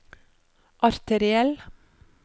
arteriell